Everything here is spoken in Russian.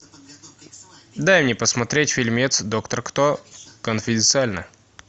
дай мне посмотреть фильмец доктор кто конфиденциально